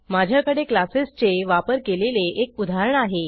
माझ्याकडे क्लासेस चा वापर केलेले एक उदाहरण आहे